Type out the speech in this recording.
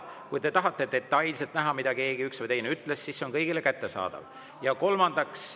Kui te tahate detailselt näha, mida keegi, üks või teine ütles, siis, see on kõigile kättesaadav.